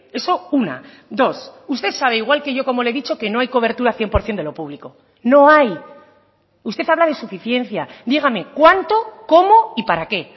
eso una dos usted sabe igual que yo como le he dicho que no hay cobertura a cien por ciento de lo público no hay usted habla de suficiencia dígame cuánto cómo y para qué